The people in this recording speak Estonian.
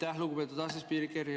Aitäh, lugupeetud asespiiker!